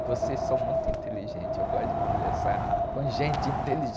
vocês são muito inteligentes, eu gosto de conversar com gente inteligente.